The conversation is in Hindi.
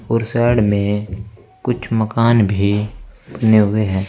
और साइड में कुछ मकान भी बने हुए हैं।